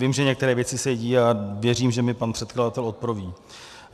Vím, že některé věci se dějí, a věřím, že mi pan předkladatel odpoví.